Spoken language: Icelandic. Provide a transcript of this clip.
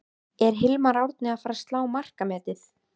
Er Hilmar Árni að fara að slá markametið?